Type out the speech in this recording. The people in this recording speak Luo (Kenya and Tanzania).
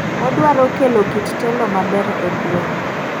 odwaro kelo kit telo maber e gweng'.